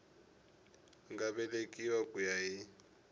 nga vekiwa ku ya hi